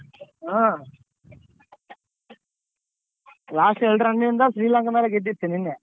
ಹಾ last ಎರ್ಡ್ run ಇಂದ ಶ್ರೀಲಂಕಾದ್ ಮೇಲೆ ಗೆದ್ದಿತ್ತು ನೆನ್ನೆ.